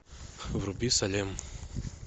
вруби салем